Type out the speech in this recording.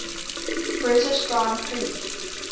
british grand prix